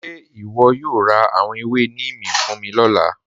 Ṣe ìwọ yóò rá àwọn èwè Nímì fún mi ni ọ̀lá?